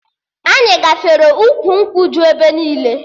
Anyị gafere ukwu nkwụ ju ebe niile